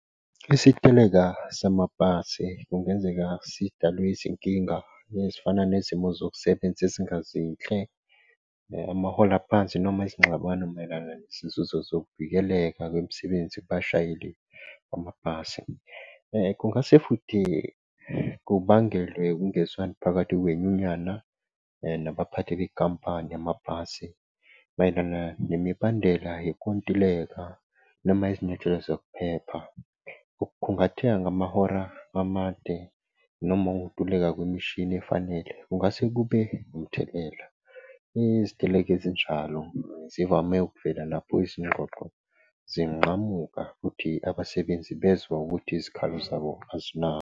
Isiteleka samabhasi kungenzeka sidale izinkinga ezifana nezimo zokusebenza ezingazinhle amahora aphansi noma izingxabano mayelana nezinzuzo zokuvikeleka kwemisebenzi kubashayeli bamabhasi. Kungase futhi kubangelwe ukungezwani phakathi kwenyunyana nabaphathi benkampani yamabhasi mayelana nemibandela yekontileka noma izinyathelo zokuphepha, ukukhungatheka ngamahora amade noma ukuntuleka kwemishini efanele kungase kube nomthelela. Iziteleka ezinjalo zivame ukuvela lapho izingxoxo zinqamuka ukuthi abasebenzi bezwa ukuthi izikhalo zabo azinakwa.